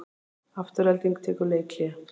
Afturelding tekur leikhlé